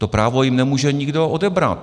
To právo jim nemůže nikdo odebrat.